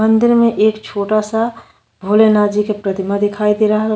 मंदिर में एक छोटा सा भोले नाथ जी के प्रितमा दिखाई दे रहल --